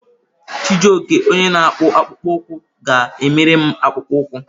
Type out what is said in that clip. Chijioke onye na-akpụ akpụkpọ ụkwụ ga-emere m akpụkpọ ụkwụ.